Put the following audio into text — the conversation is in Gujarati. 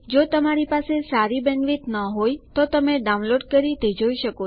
જો તમારી પાસે સારી બેન્ડવિડ્થ ન હોય તો તમે ડાઉનલોડ કરીને તે જોઈ શકો છો